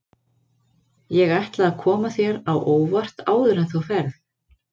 Ég ætla að koma þér á óvart áður en þú ferð.